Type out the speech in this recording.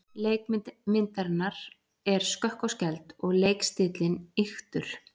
Leikmynd myndarinnar er skökk og skæld og leikstíllinn ýktur.